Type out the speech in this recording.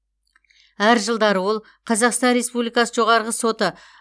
әр жылдары ол қазақстан республикасы жоғарғы соты